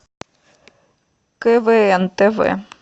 квн тв